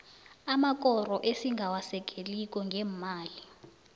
amakoro esingawasekeliko ngeemali